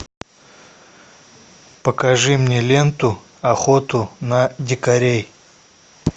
покажи мне ленту охоту на дикарей